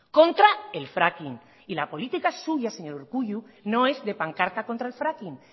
contra el fracking y la política suya señor urkullu no es de pancarta contra el fracking